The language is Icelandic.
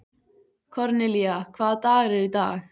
Kornelía, hvaða dagur er í dag?